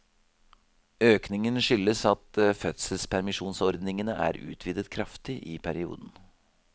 Økningen skyldes at fødselspermisjonsordningene er utvidet kraftig i perioden.